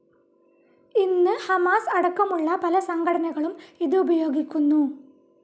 ഇന്ന് ഹമാസ് അടക്കമുള്ള പല സംഘടനകളും ഇത് ഉപയോഗിക്കുന്നു.